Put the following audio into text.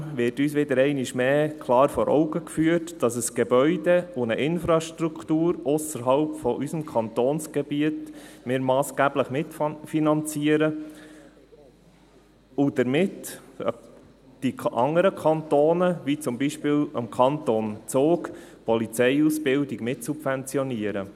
Zudem wird uns einmal mehr klar vor Augen geführt, dass wir ein Gebäude und eine Infrastruktur ausserhalb unseres Kantonsgebiets massgeblich mitfinanzieren und dadurch die anderen Kantone, wie zum Beispiel den Kanton Zug, bei der Polizeiausbildung mitsubventionieren.